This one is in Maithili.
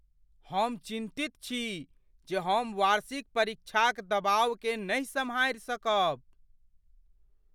हमरा चिंतित छी जे हम वार्षिक परीक्षाक दबावकेँ नहि सम्हारि सकब ।